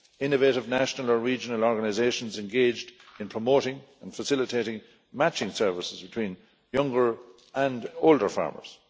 innovative national or regional organisations engaged in promoting and facilitating matching services between younger and older farmers.